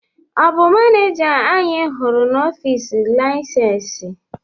Ọ̀ bụ maneja anyị hụrụ n'ọfịs laịsensị?